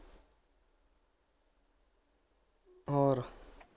ਹੋਰ